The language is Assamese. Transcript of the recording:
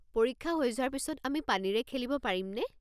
পৰীক্ষা হৈ যোৱাৰ পিছত আমি পানীৰে খেলিব পাৰিমনে?